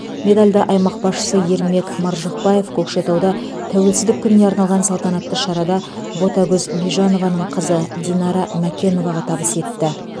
медальді аймақ басшысы ермек маржықпаев көкшетауда тәуелсіздік күніне арналған салтанатты шарада ботагөз бижанованың қызы динара мәкеноваға табыс етті